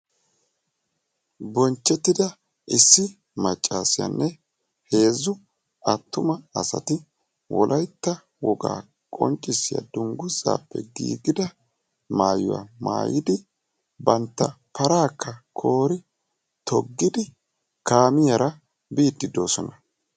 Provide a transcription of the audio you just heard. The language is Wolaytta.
Bonchchetida issi maccassiyanne heezzu attuma asati wolaytta woga qonccissiya dungguzappe giigida maatyuwa maattidi bantta parakka koori toggidi kaamiyaara biide de'oosona.